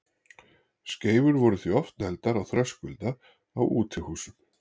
Skeifur voru því oft negldar á þröskulda á útihúsum.